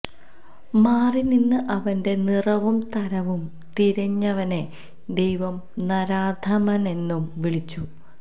മാറിനിന്ന് അവന്റെ നിറവും തരവും തിരഞ്ഞവനെ ദൈവം നരാധമനെന്നും വിളിച്ചു